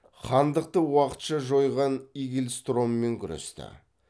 хандықты уақытша жойған игельстроммен күресті